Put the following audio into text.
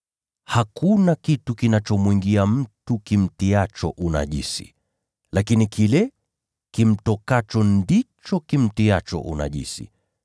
Hakuna kitu kinachomwingia mtu kimtiacho unajisi, lakini kile kimtokacho ndicho kimtiacho unajisi. [